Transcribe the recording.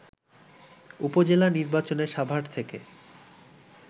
উপজেলা নির্বাচনে সাভার থেকে